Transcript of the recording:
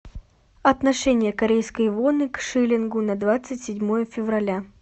отношение корейской воны к шиллингу на двадцать седьмое февраля